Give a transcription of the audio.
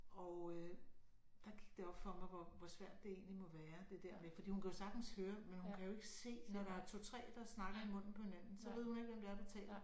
Og øh der gik det op for mig hvor hvor svært det egentlig må være det der med fordi hun kan jo sagtens høre men hun kan jo ikke se når der 2 3 der snakker i munden på hinanden så ved hun ikke hvem det er der taler